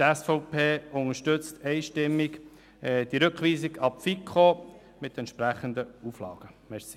Die SVP unterstützt den Antrag auf Rückweisung an die FiKo mit entsprechenden Auflagen einstimmig.